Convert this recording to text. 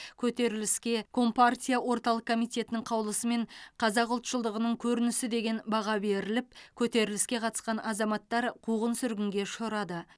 көтеріліске компартия орталық комитетінің қаулысымен қазақ ұлтшылдығының көрінісі деген баға беріліп көтеріліске қатысқан азаматтар қуғын сүргінге ұшырады